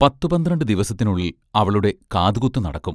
പത്തു പന്ത്രണ്ടു ദിവസത്തിനുള്ളിൽ അവളുടെ കാതുകുത്തു നടക്കും.